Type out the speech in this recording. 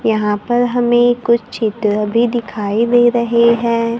यहां पर हमें कुछ चित्र भी दिखाई दे रहे हैं।